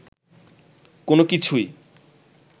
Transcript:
কোন কিছুই